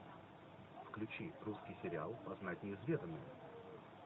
включи русский сериал познать неизведанное